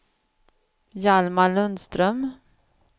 Hjalmar Lundström